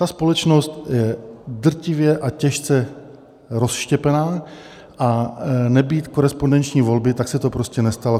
Ta společnost je drtivě a těžce rozštěpena, a nebýt korespondenční volby, tak se to prostě nestalo.